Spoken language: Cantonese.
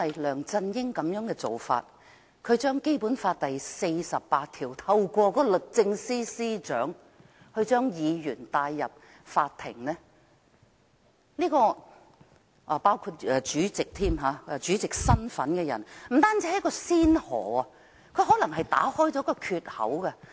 梁振英的做法是引用《基本法》第四十八條，透過律政司司長將議員甚至身份為主席的人帶上法庭，這不只是先河，更可能會打開缺口。